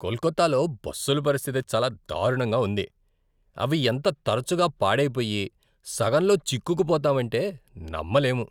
కోల్కతాలో బస్సుల పరిస్థితి చాలా దారుణంగా ఉంది! అవి ఎంత తరచుగా పాడైపోయి, సగంలో చిక్కుకుపోతామంటే నమ్మలేము.